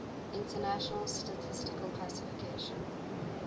international statistical classification